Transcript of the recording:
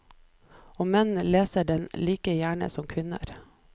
Og menn leser den like gjerne som kvinner.